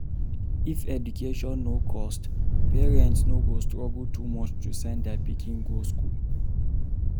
If education no cost, parents no go struggle too much to send their pikin go school